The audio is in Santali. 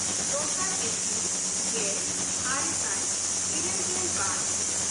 ᱫᱚᱥᱟᱨ ᱮᱯᱨᱤᱞ ᱜᱮᱼᱟᱨᱮ ᱥᱟᱭ ᱤᱨᱟᱹᱞᱜᱮᱞ ᱵᱟᱨ